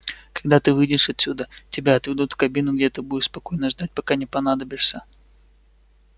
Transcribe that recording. когда ты выйдешь отсюда тебя отведут в кабину где ты будешь спокойно ждать пока не понадобишься